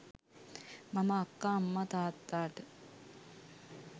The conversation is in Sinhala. මම අක්කා අම්මා තාත්තාට